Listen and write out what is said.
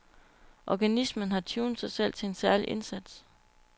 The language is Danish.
Organismen har tunet sig selv til en særlig indsats.